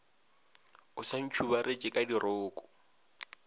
o sa ntšhubaretše ka diroko